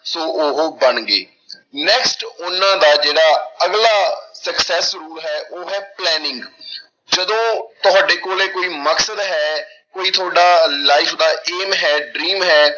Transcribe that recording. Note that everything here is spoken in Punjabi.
ਸੋ ਉਹ ਬਣ ਗਏ next ਉਹਨਾਂ ਦਾ ਜਿਹੜਾ ਅਗਲਾ success rule ਹੈ ਉਹ ਹੈ planning ਜਦੋਂ ਤੁਹਾਡੇ ਕੋਲੇ ਕੋਈ ਮਕਸਦ ਹੈ ਕੋਈ ਤੁਹਾਡਾ life ਦਾ aim ਹੈ dream ਹੈ